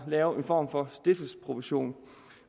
lave en form for stiftelsesprovision